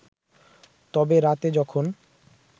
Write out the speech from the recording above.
তবে রাতে যখন